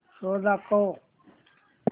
show दाखव